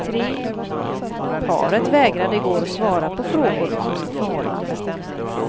Paret vägrade i går att svara på frågor om sitt förhållande.